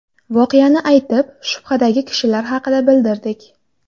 Voqeani aytib, shubhadagi kishilar haqida bildirdik.